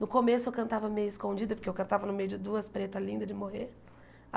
No começo eu cantava meio escondida, porque eu cantava no meio de duas pretas lindas de morrer.